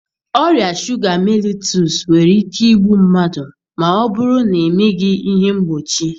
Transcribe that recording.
Ọrịa shuga mellitus nwere ike igbu mmadụ ma ọ bụrụ na emeghị ihe mgbochi.